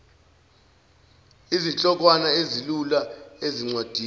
izihlokwana ezilula ezincwadini